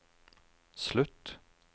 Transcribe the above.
slutt